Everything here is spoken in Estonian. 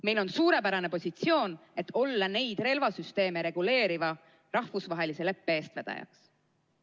Meil on suurepärane positsioon, et olla neid relvasüsteeme reguleeriva rahvusvahelise leppe eestvedaja.